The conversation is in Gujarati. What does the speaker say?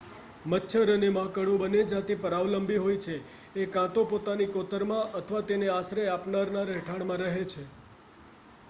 મચ્છર અને માંકડો બંને જાતિ પરાવલંબી હોય છે એ કાં તો પોતાની કોતરમાં અથવા તેને આશ્રય આપનારના રહેઠાણમાં રહે છે